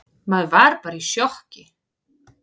Maður var bara í sjokki.